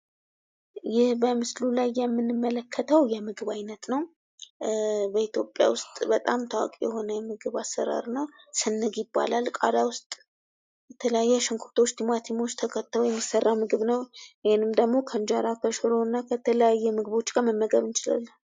ይህ በምስሉ ላይ የምንመለከተው የምግብ ዓይነት ነው። በኢትዮጵያ ውስጥ በጣም ታዋቂ የሆነ የምግብ አሰራር ነው። ስንግ ይባላል ቃሪያ ውስጥ የተለያዩ ቲማቲም ሽንኩርቶችን ተከተው የሚሠራ ምግብ ነው። ይህን ምግብ ደግሞ ከእንጀራ ክምር እና ከተለያዩ ምግቦች ጋር መመገብ እንችላለን።